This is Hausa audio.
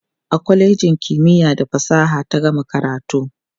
a kwalejin kimiya da fasaha ta gama karatu